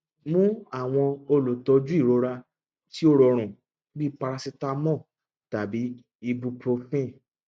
mu awọn olutọju irora ti o rọrun bi paracetamol tabi ibuprofen